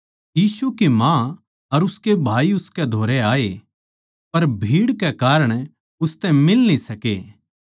यीशु की माँ अर उसके भाई उसकै धोरै आए पर भीड़ कै कारण उसतै फेट न्ही सके